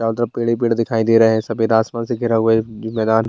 ज्यादा पेंडा ही पेड दिखाई दे रहे हैं सफेद आसमान के घिरा हुआ ये मैदान।